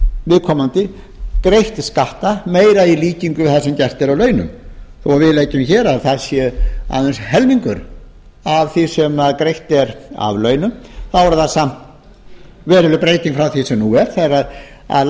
viðkomandi greitt skatta meira í líkingu við það sem gert er af launum og við leggjum hér til að það sé aðeins helmingur af því sem greitt er af launum þá er það samt veruleg breyting frá því sem nú er þegar